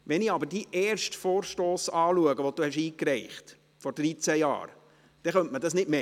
Wenn ich mir Ihren ersten Vorstoss anschaue, den Sie vor 13 Jahren eingereicht haben, könnte man das nicht meinen.